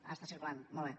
ah està circulant molt bé